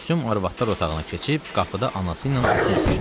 Gülsüm arvadlar otağına keçib qapıda anası ilə uzun öpüşdü.